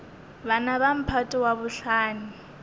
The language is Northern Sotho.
bana ba mphato wa bohlano